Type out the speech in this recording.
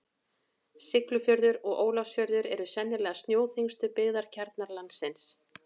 Siglufjörður og Ólafsfjörður eru sennilega snjóþyngstu byggðakjarnar landsins.